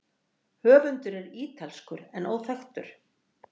Höfundur er ítalskur en óþekktur.